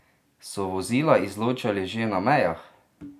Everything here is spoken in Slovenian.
So vozila izločali že na mejah?